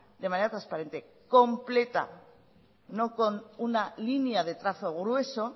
de manera transparente y completa no con una línea de trazo grueso